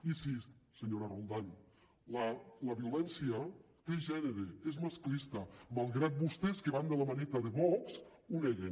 i sí senyora roldán la violència té gènere és masclista malgrat que vostès que van de la maneta de vox ho neguen